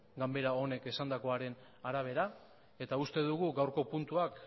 ganbara honek esandakoaren arabera eta uste dugu gaurko puntuak